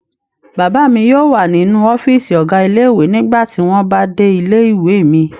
Bàbá mi yóò wà nínú ọ́fíísì ọ̀gá ilé-ìwé nígbà tí wọ́n bá dé ilé-ìwé mi.